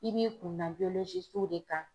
I b'i kunna de kan.